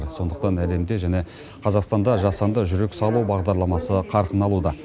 сондықтан әлемде және қазақстанда жасанды жүрек салу бағдарламасы қарқын алуда